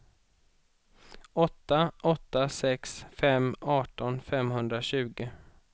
åtta åtta sex fem arton femhundratjugo